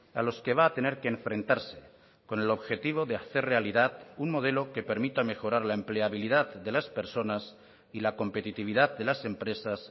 a los que va a tener que enfrentarse con el objetivo de hacer realidad un modelo que permita mejorar la empleabilidad de las personas y la competitividad de las empresas